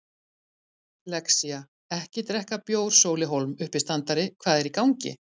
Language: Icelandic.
Lexía-ekki drekka bjór Sóli Hólm, uppistandari Hvað er í gangi?